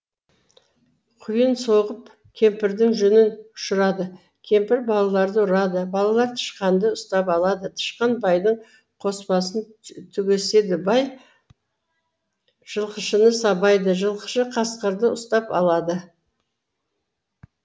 құйын соғып кемпірдің жүнін ұшырады кемпір балаларды ұрады балалар тышқанды ұстап алады тышқан байдың қоспасын түгеседі бай жылқышыны сабайды жылқышы қасқырды ұстап алады